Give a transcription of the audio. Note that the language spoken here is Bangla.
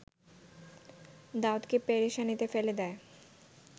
দাউদকে পেরেশানিতে ফেলে দেয়